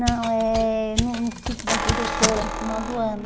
Não, é no no sítio da diretora, no final do ano.